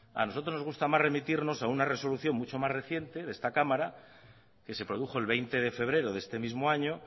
a nosotros nos gusta más remitirnos a una resolución mucho más reciente de esta cámara que se produjo el veinte de febrero de este mismo año